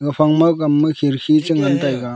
phangma gamma khirki chengan taiga.